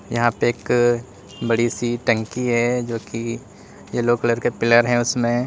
यहां पे एक बड़ी सी टंकी है जो की येलो कलर के पिलर है उसमें।